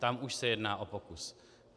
Tam už se jedná o pokus.